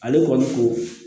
Ale kɔni ko